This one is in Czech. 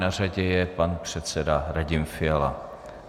Na řadě je pan předseda Radim Fiala.